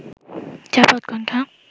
চাপা উৎকণ্ঠা